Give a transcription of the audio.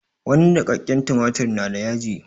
Wani niƙakƙen tumatirin na da yaji.